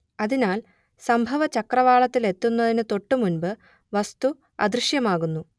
അതിനാൽ സംഭവചക്രവാളത്തിലെത്തുന്നതിന് തൊട്ടുമുമ്പ് വസ്തു അദൃശ്യമാകുന്നു